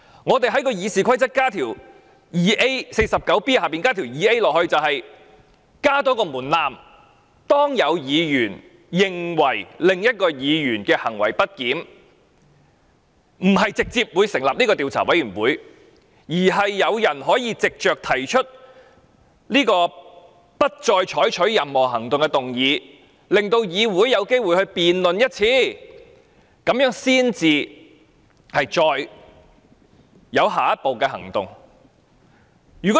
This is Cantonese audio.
我們在《議事規則》第 49B 條加入第款，用意是加入一個門檻，當一位議員認為某位議員行為不檢，不是直接成立調查委員會，而是讓議員可以藉着提出不得再採取任何行動的議案，令議會有機會就此進行一次辯論，然後才進行下一步行動。